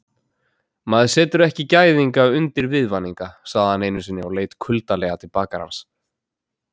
Maður setur ekki gæðinga undir viðvaninga, sagði hann einusinni og leit kuldalega til bakarans.